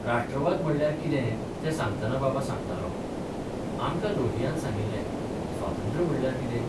राष्ट्रवाद म्हणल्यार कितें तें सांगतना बाबा सांगतालोः आमकां लोहियान सांगिल्ले स्वातंत्र्य म्हणल्यार कितें?